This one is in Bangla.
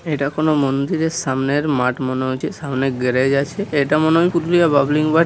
এটা কোন মন্দিরের সামনের মাঠ মনে হয়েছে। সামনে গ্যারেজ আছে এটা মনে হয় পুরুলিয়া বাবলিং মাট ।